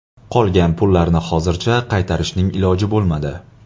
Qolgan pullarni hozircha qaytarishning iloji bo‘lmadi.